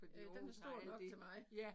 Ja den er stor nok til mig